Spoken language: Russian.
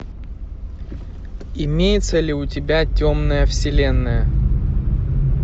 имеется ли у тебя темная вселенная